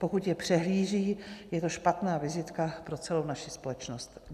Pokud je přehlíží, je to špatná vizitka pro celou naši společnost.